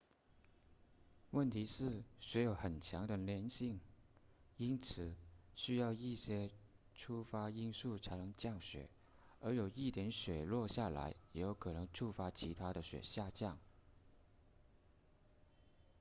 问题是雪有很强的粘性因此需要一些触发因素才能降雪而有一点雪落下来也可能触发其他的雪下降